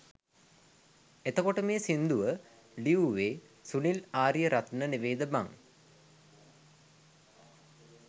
එතකොට මේ සිංදුව ලියුවේ සුනිල් ආරියරත්න නෙවෙයිද බං?